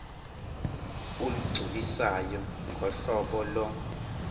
olugculisayo ngohlobo lo